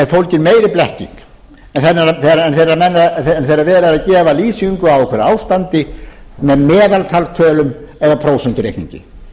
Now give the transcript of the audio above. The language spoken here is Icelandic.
fólgin meiri blekking en þegar verið er að gefa lýsingu á einhverju ástandi með meðaltalstölum eða prósentureikningi